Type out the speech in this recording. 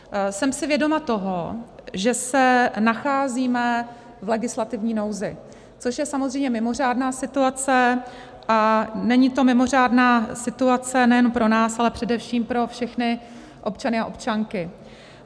Jsem si vědoma toho, že se nacházíme v legislativní nouzi, což je samozřejmě mimořádná situace, a není to mimořádná situace jen pro nás, ale především pro všechny občany a občanky.